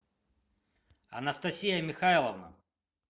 анастасия михайловна